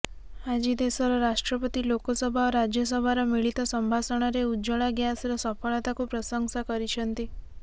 ଆଜି ଦେଶର ରାଷ୍ଟପତି ଲୋକସଭା ଓ ରାଜ୍ୟସଭାର ମିଳିତ ସମ୍ଭାଷଣରେ ଉଜ୍ଜଳା ଗ୍ୟାସର ସଫଳତାକୁ ପ୍ରଂଶସା କରିଛନ୍ତି